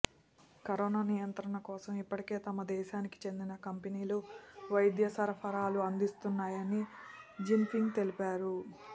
corona నియంత్రణ కోసం ఇప్పటికే తమ దేశానికి చెందిన కంపెనీలు వైద్య సరఫరాలు అందిస్తున్నాయని జిన్పింగ్ తెలిపారు